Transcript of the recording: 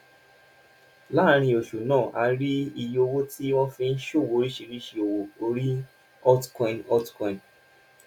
láàárín oṣù náà a rí iye owó tí wọn fi ń ṣòwò oríṣiríṣi owó orí altcoin altcoin